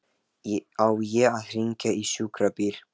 Á ég að hringja á sjúkrabíl?